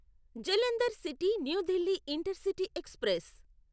Jalandhar city new Delhi intercity express